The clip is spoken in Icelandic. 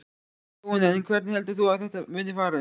Jóhanna: En hvernig heldur þú að þetta muni fara?